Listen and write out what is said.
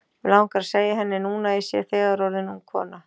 Mig langar að segja henni núna að ég sé þegar orðin ung kona.